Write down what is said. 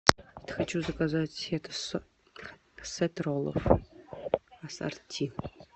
хочу заказать сет роллов ассорти